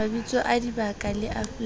mabitso a dibaka la afrika